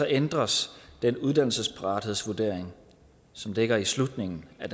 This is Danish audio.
ændres den uddannelsesparathedsvurdering som ligger i slutningen af